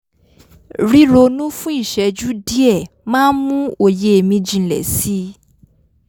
ríronú fún ìṣẹ́jú díẹ̀ máa ń ń mú òye mi jinlẹ̀ si